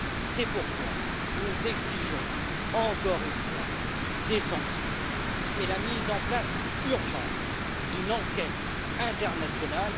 C'est pourquoi nous exigeons, encore une fois, des sanctions et la mise en place urgente d'une enquête internationale.